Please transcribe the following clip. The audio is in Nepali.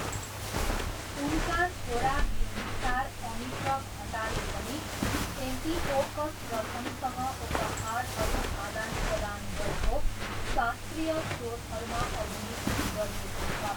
उनका छोरा बिन्दुसार अमित्रघटाले पनि एन्टिओकस प्रथमसँग उपहारहरू आदानप्रदान गरेको शास्त्रीय स्रोतहरूमा अभिलिखित गरिएको छ।